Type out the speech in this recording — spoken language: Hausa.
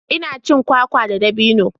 Ina cin kwakwa da dabino.